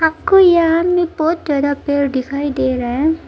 आपको यहां में बहुत बड़ा पेड़ दिखाई दे रहा है।